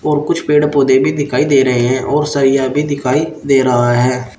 और कुछ पेड़ पौधे भी दिखाई दे रहे हैं और सरिया भी दिखाई दे रहा है।